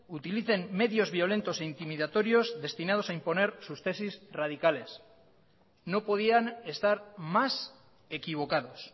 utilicen medios violentos e intimidatorios destinados a imponer sus tesis radicales no podían estar más equivocados